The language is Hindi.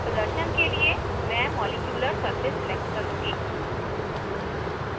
प्रदर्शन के लिए मैं molecular surface select करुँगी